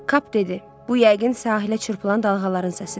Kap dedi: Bu yəqin sahilə çırpılan dalğaların səsidir.